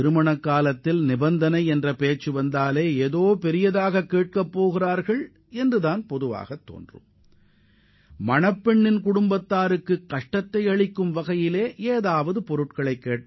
இதுபோன்ற நிபந்தனைகள் விதித்தால் பெண் வீட்டார் நிறைவேற்ற முடியாத அளவிற்கு கடுமையான நிபந்தனையாக அது இருக்கும் என்பதே பொதுவான கருத்தாக இருக்கும்